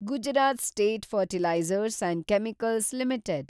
Gujarat state fertilizers and chemicals limited